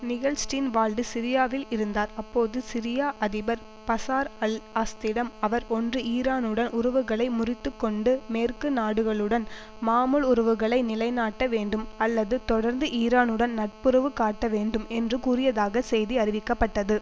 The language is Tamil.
நிகல் ஸ்டீன் வால்டு சிரியாவில் இருந்தார் அப்போது சிரியா அதிபர் பசார் அல் அஸாத்திடம் அவர் ஒன்று ஈரானுடன் உறவுகளை முறித்து கொண்டு மேற்கு நாடுகளுடன் மாமூல் உறவுகளை நிலைநாட்ட வேண்டும் அல்லது தொடர்ந்து ஈரானுடன் நட்புறவு காட்ட வேண்டும் என்று கூறியதாக செய்தி அறிவிக்கப்பட்டது